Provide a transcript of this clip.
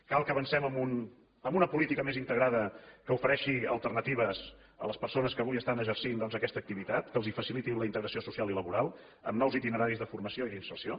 cal que avancem en una política més integrada que ofereixi alternatives a les persones que avui estan exercint doncs aquesta activitat que els faciliti la integració social i laboral amb nous itineraris de formació i d’inserció